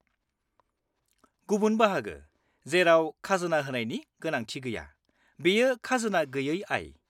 -गुबुन बाहागो जेराव खाजोना होनायनि गोनांथि गैया बेयो खाजोना गैयै आय।